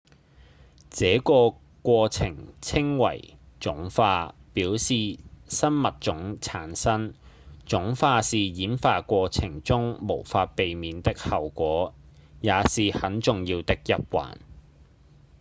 這個過程稱為種化表示新物種產生種化是演化過程中無法避免的後果也是很重要的一環